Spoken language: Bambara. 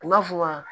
U b'a fɔ wa